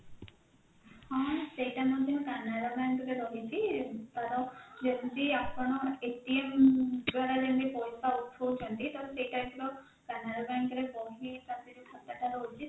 ହଁ ସେଇଟା ମଧ୍ୟ canara bank ରେ ରହିଛି ତାର ଯେମତି ଆପଣ ଦ୍ଵାରା ଯେମତି ପଇସା ଉଠଉଛନ୍ତି ତ ସେଇ type ର canara bank ରେ ବହି ହିସାବରେ ଯୋଉ ଖାତାଟା ରହୁଛି